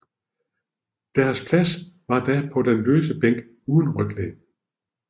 Deres plads var da på den løse bænk uden ryglæn